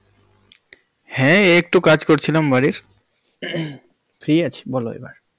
হ্যাঁ এই একটু কাজ করছিলাম বাড়ির। free আছি বলো এবার।